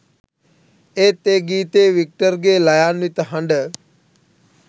ඒත් ඒ ගීතයේ වික්ටර්ගේ ළයාන්විත හඬ